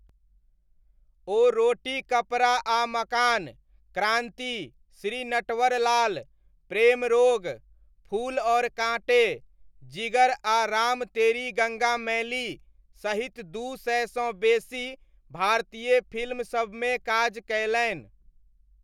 ओ रोटी कपड़ा आ मकान, क्रान्ति, श्री नटवरलाल, प्रेम रोग, फूल और काँटे, जिगर आ राम तेरी गङ्गा मैली सहित दू सयसँ बेसी भारतीय फिल्मसबमे काज कयलनि।